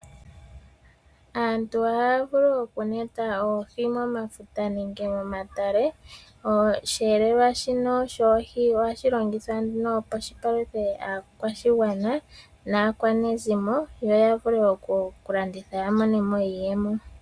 Aantu ohaya vulu okuneta oohi momafuta nenge momatale. Osheelelwa shino shoohi ohashi longithwa nduno opo shi paluthe aakwashigwana naakwanezimo, noya vule okulanditha yamonemo iiyemo.